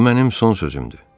Bu mənim son sözümdür.